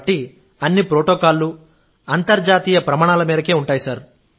కాబట్టి అన్ని ప్రోటోకాల్లు అంతర్జాతీయ ప్రమాణాల మేరకు ఉంటాయి